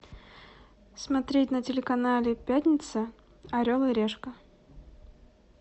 смотреть на телеканале пятница орел и решка